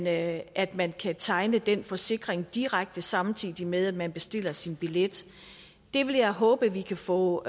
at at man kan tegne den forsikring direkte samtidig med at man bestiller sin billet det vil jeg håbe at vi kan få